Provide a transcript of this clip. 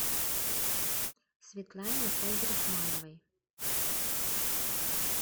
светлане файзрахмановой